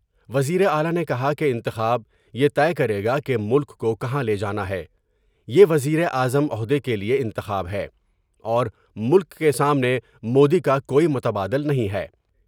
وزیر اعلی نے کہا کہ انتخاب یہ طے کرے گا کہ ملک کو کہاں لے جانا ہے میر وزیر اعظم عہدے کے لئے انتخاب ہے ، اور ملک کے سامنے مودی کا کوئی متبادل نہیں ہے ۔